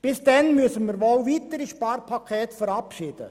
Bis dahin müssen wir wohl weitere Sparpakete verabschieden.